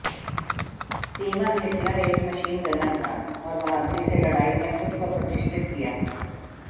semen Hitler एक machine gunner था और बहादुरी से लड़ाई में खुद को प्रतिष्ठित किया